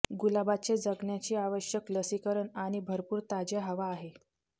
गुलाबाचे जगण्याची आवश्यक लसीकरण आणि भरपूर ताज्या हवा आहे